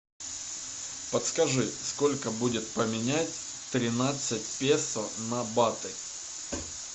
подскажи сколько будет поменять тринадцать песо на баты